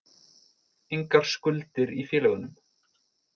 Engar skuldir í félögunum